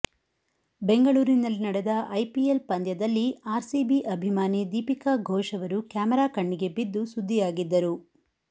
ಬೆಂಗಳೂರಿನಲ್ಲಿ ನಡೆದ ಐಪಿಎಲ್ ಪಂದ್ಯದಲ್ಲಿ ಆರ್ಸಿಬಿ ಅಭಿಮಾನಿ ದೀಪಿಕಾ ಘೋಶ್ ಅವರು ಕ್ಯಾಮೆರಾ ಕಣ್ಣಿಗೆ ಬಿದ್ದು ಸುದ್ದಿಯಾಗಿದ್ದರು